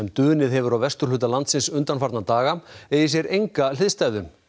dunið hefur á vesturhluta landsins undanfarna daga eigi sér enga hliðstæðu